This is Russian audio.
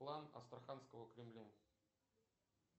план астраханского кремля